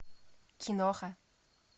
киноха